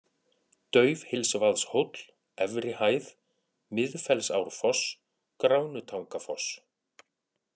Daufhylsvaðshóll, Efri-Hæð, Miðfellsárfoss, Gránutangafoss